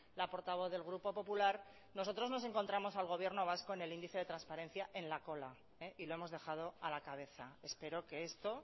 la portavoz del grupo popular nosotros nos encontramos al gobierno vasco en el índice de transparencia en la cola y lo hemos dejado a la cabeza espero que esto